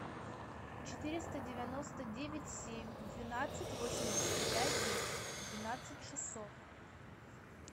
четыреста девяносто девять семь двенадцать восемьдесят пять двенадцать шестьсот